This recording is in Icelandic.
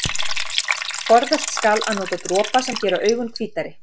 Forðast skal að nota dropa sem gera augu hvítari.